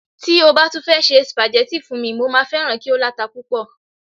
ti o ba tun fẹ se spaghetti fún mi, mo ma feran ki o lata pupo